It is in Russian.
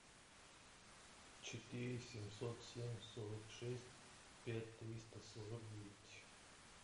четыре семьсот семь сорок шесть пять триста сорок девять